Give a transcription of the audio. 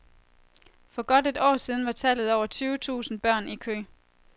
For godt et år siden var tallet over tyve tusind børn i kø.